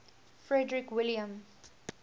frederick william